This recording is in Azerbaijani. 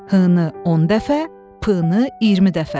H-nı 10 dəfə, P-nı 20 dəfə.